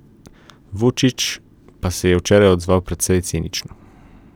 Vučić pa se je včeraj odzval precej cinično.